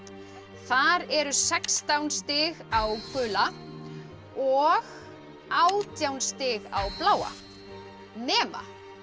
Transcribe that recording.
þar eru sextán stig á gula og átján stig á bláa nema